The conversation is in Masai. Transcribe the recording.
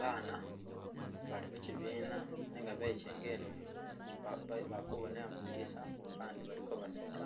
Baana bali mukyibina nenga bekyengele mu ba ba bakubonela mwi dilisa bandi balikobaseka,